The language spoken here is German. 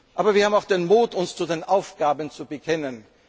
Aber wir haben auch den Mut, uns zu den Aufgaben zu bekennen.